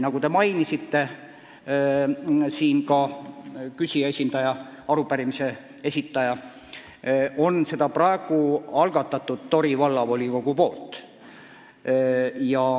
Nagu arupärimise esitaja mainis, selle on praegu algatanud Tori Vallavolikogu.